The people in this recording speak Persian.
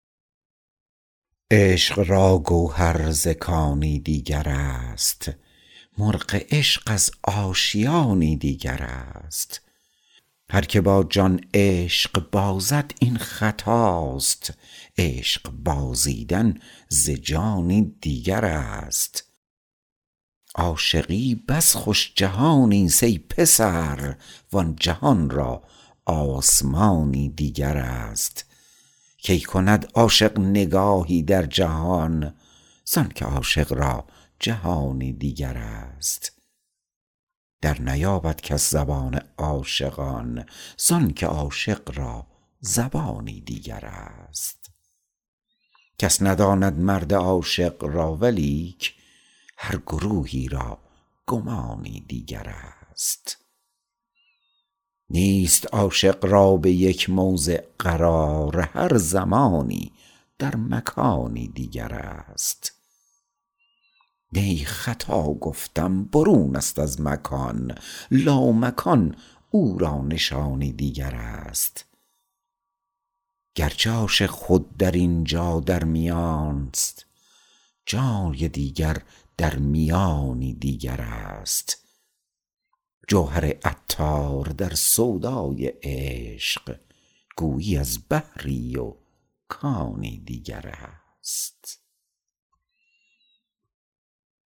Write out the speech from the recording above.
عشق را گوهر ز کانی دیگر است مرغ عشق از آشیانی دیگر است هرکه با جان عشق بازد این خطاست عشق بازیدن ز جانی دیگر است عاشقی بس خوش جهان است ای پسر وان جهان را آسمانی دیگر است کی کند عاشق نگاهی در جهان زانکه عاشق را جهانی دیگر است در نیابد کس زبان عاشقان زانکه عاشق را زبانی دیگر است کس نداند مرد عاشق را ولیک هر گروهی را گمانی دیگر است نیست عاشق را به یک موضع قرار هر زمانی در مکانی دیگر است نی خطا گفتم برون است از مکان لامکان او را نشانی دیگر است گرچه عاشق خود در اینجا در میانست جای دیگر در میانی دیگر است جوهر عطار در سودای عشق گویی از بحری و کانی دیگر است